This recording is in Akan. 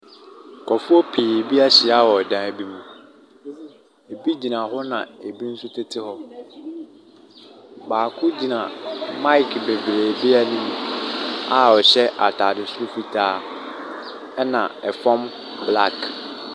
Nkurofoɔ pii bi ahyia wɔ dan bi mu. Ebi gyina hɔ na ebi nso tete hɔ. Baako gyina maek bebree bi anim a ɔhyɛ ataade soro fitaa ɛna ɛfam blak.